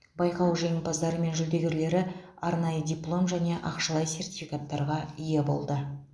байқау жеңімпаздары мен жүлдегерлері арнайы диплом және ақшалай сертификаттарға ие болды